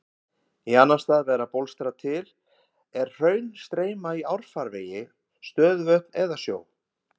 Í annan stað verða bólstrar til er hraun streyma í árfarvegi, stöðuvötn eða sjó.